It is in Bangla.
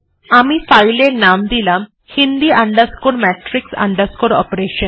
আমি ফাইল এর নাম দিলাম হিন্দি matrix অপারেশন